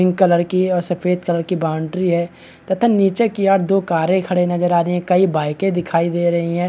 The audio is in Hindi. क्रीम कलर की और सफ़ेद कलर की बाउंड्री है तथा नीचे की ओर दो कारे खड़े नजर आ रही है कई बाइके दिखाई दे रही है।